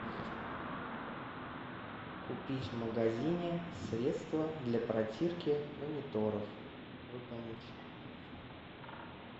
купить в магазине средство для протирки мониторов выполнить